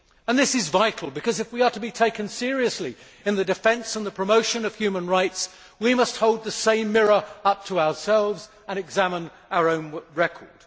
This is vital because, if we are to be taken seriously in the defence and the promotion of human rights, we must hold the same mirror up to ourselves and examine our own record.